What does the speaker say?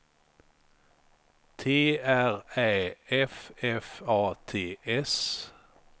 T R Ä F F A T S